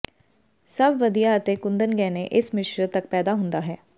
ਸਭ ਵਧੀਆ ਅਤੇ ਕੁੰਦਨ ਗਹਿਣੇ ਇਸ ਮਿਸ਼ਰਤ ਤੱਕ ਪੈਦਾ ਹੁੰਦਾ ਹੈ